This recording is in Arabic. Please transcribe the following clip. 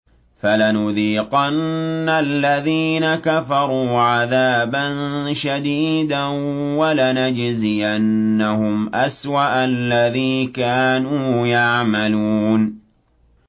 فَلَنُذِيقَنَّ الَّذِينَ كَفَرُوا عَذَابًا شَدِيدًا وَلَنَجْزِيَنَّهُمْ أَسْوَأَ الَّذِي كَانُوا يَعْمَلُونَ